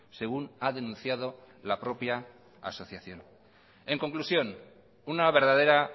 según ha denunciado la propia asociación en conclusión una verdadera